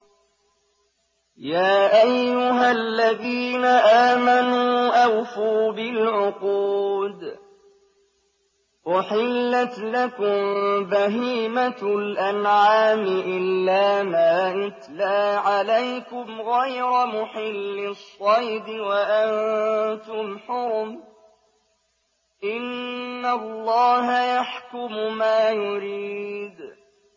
يَا أَيُّهَا الَّذِينَ آمَنُوا أَوْفُوا بِالْعُقُودِ ۚ أُحِلَّتْ لَكُم بَهِيمَةُ الْأَنْعَامِ إِلَّا مَا يُتْلَىٰ عَلَيْكُمْ غَيْرَ مُحِلِّي الصَّيْدِ وَأَنتُمْ حُرُمٌ ۗ إِنَّ اللَّهَ يَحْكُمُ مَا يُرِيدُ